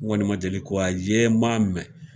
N kɔni ma deli ka ye , n ma mɛn.